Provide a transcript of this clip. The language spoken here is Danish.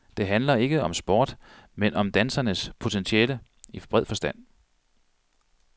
Det handler ikke om sport, men om danserens potentiale i bred forstand.